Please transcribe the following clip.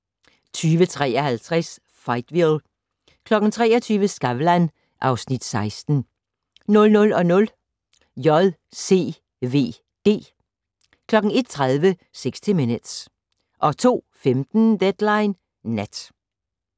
20:53: Fightville 23:00: Skavlan (Afs. 16) 00:00: JCVD 01:30: 60 Minutes 02:15: Deadline Nat